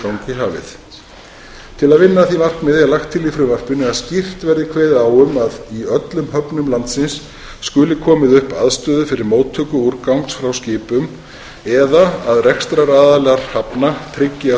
í hafið til að vinna að því markmiði er lagt til í frumvarpinu að skýrt verði kveðið á um að í öllum höfnum landsins skuli komið upp aðstöðu fyrir móttöku úrgangs frá skipum eða að rekstraraðilar hafna tryggi að